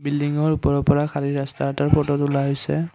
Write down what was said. বিল্ডিংৰ ওপৰৰ পৰা খালি ৰাস্তা এটাৰ ফটো তোলা হৈছে।